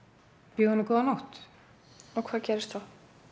býð honum góða nótt og hvað gerðist svo